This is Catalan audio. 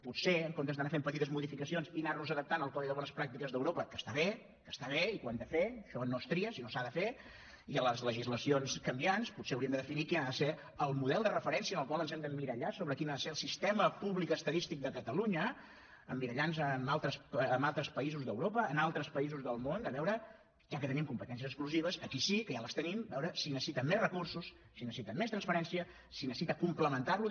potser en comptes d’anar fent petites modificacions i anar nos adaptant al codi de bones pràctiques d’europa que està bé que està bé i que ho hem de fer això no es tria sinó que s’ha de fer i a les legislacions canviants hauríem de definir quin ha de ser el model de referència en el qual ens hem d’emmirallar quin ha de ser el sistema públic estadístic de catalunya emmirallant nos en altres països d’europa en altres països del món per veure ja que tenim competències exclusives aquí sí que ja les tenim si necessita més recursos si necessita més transparència si necessita complementar lo